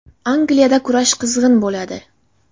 Angliyada kurash qizg‘in bo‘ladi!